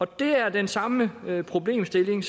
det er den samme problemstilling